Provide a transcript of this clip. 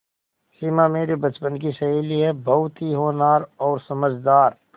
सिमा मेरे बचपन की सहेली है बहुत ही होनहार और समझदार